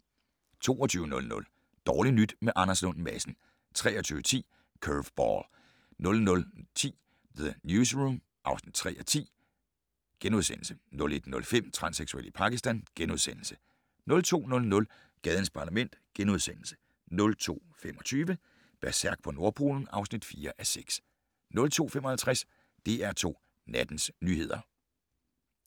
22:00: Dårligt nyt med Anders Lund Madsen 23:10: Curveball 00:10: The Newsroom (3:10)* 01:05: Transseksuel i Pakistan * 02:00: Gadens Parlament * 02:25: Berserk på Nordpolen (4:6) 02:55: DR2 Nattens nyheder